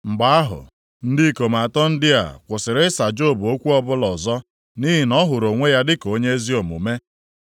Mgbe ahụ, ndị ikom atọ ndị a kwusịrị ịsa Job okwu ọbụla ọzọ nʼihi na ọ hụrụ onwe ya dịka onye ezi omume.